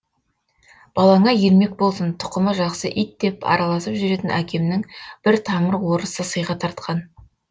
балаңа ермек болсын тұқымы жақсы ит деп араласып жүретін әкемнің бір тамыр орысы сыйға тартқан